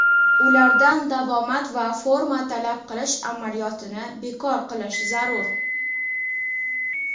Ulardan davomat va forma talab qilish amaliyotini bekor qilish zarur.